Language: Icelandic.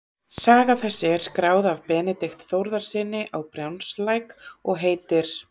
Saga þessi er skráð af Benedikt Þórðarsyni á Brjánslæk og heitir